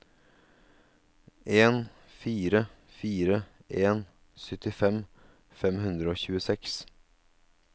en fire fire en syttifem fem hundre og tjueseks